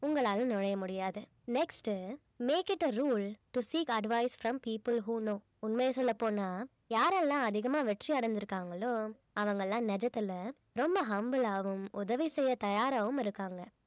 உங்களால நுழைய முடியாது next உ make it a rule to seek advice from people who know உண்மைய சொல்லப் போனா யாரெல்லாம் அதிகமாக வெற்றி அடைஞ்சிருக்காங்களோ அவங்கல்லாம் நிஜத்துல ரொம்ப humble ஆவும் உதவி செய்ய தயாராகவும் இருக்காங்க